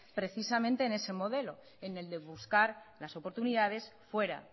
precisamente en ese modelo en el de buscar las oportunidades fuera